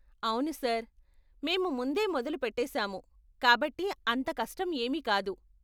అవును సార్, మేము ముందే మొదలు పెట్టేసాము కాబట్టి అంత కష్టం ఏమీ కాదు.